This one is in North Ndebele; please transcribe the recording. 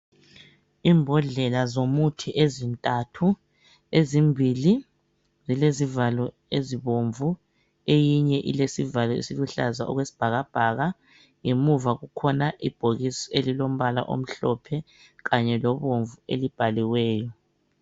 Imbodlela zomuthi ezintathu ezimbili zilezivalo ezibomvu eyinye ilesivalo esiluhlaza okwesibhakabhaka ngemuva kukhona ibhokisi elilombala omhlophe kanye lobomvu elibhaliweyo.